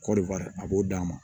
Kɔɔri a b'o d'a ma